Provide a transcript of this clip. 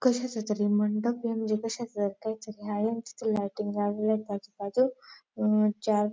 कशाचा तरी मंडप म्हणजे कशाचा काहीतरी आहे. मस्त लायटिंग लावलेले आजूबाजू. अंह चार--